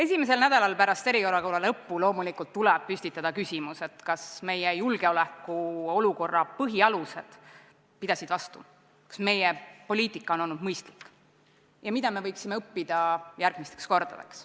Esimesel nädalal pärast eriolukorra lõppu loomulikult tuleb püstitada küsimus, kas meie julgeolekukeskkonna põhialused pidasid vastu, kas meie poliitika on olnud mõistlik ja mida me võiksime õppida järgmisteks kordadeks.